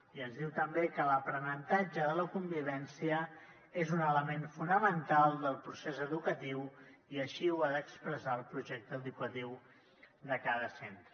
i ens diu també que l’aprenentatge de la convivència és un element fonamental del procés educatiu i així ho ha d’expressar el projecte educatiu de cada centre